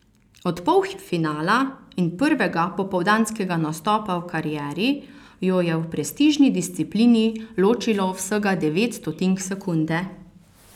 Od polfinala in prvega popoldanskega nastopa v karieri jo je v prestižni disciplini ločilo vsega devet stotink sekunde.